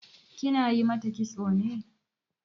Kina yi mata kitso ne?